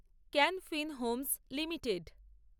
can Fin homes limited